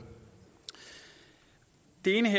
ene